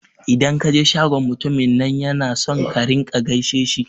Idan ka je shagon mutumin nan yana son ka rinƙa gaishe shi